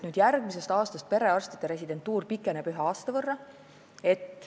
Järgmisest aastast pikeneb perearstide residentuur ühe aasta võrra.